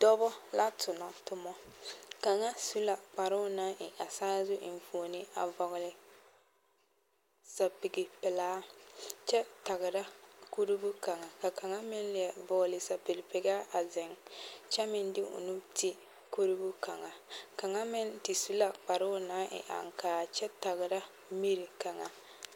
Dɔbɔ la tonɔ tomɔ kaŋa su la kparoo naŋ e a saazu enfuone a vɔgle sɛpige pelaa kyɛ tagra kurubo kaŋa kaŋa meŋ leɛ vɔgli sɛpige pelaa a zeŋ kyɛ meŋ de o nu ti kurubo kaŋa kaŋa meŋ te su la kparoo naŋ e a aŋkaa kyɛ tagra miri kaŋa.